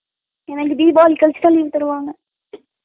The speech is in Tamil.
எங்களுக்கு தீவாளி கழிச்சுத்தா leave தருவாங்க Noise